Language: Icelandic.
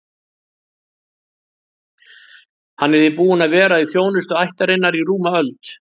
Hann er því búinn að vera í þjónustu ættarinnar í rúma öld.